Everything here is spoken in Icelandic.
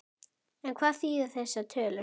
En hvað þýða þessar tölur?